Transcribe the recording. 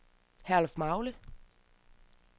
Herlufmagle